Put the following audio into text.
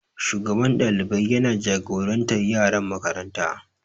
Shugaban ɗalibai yana jagorantar yaran makaranta.